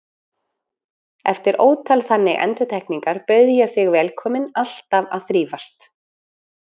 Eftir ótal þannig endurtekningar bauð ég þig velkominn, alltaf að þrífast.